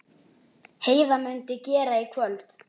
Heiða mundi gera í kvöld.